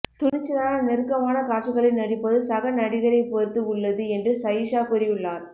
துணிச்சலான நெருக்கமான காட்சிகளில் நடிப்பது சக நடிகரை பொறுத்து உள்ளது என்று சயீஷா கூறியுள்ளார்